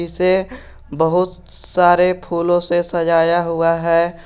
इसे बहुत सारे फूलों से सजाया हुआ है।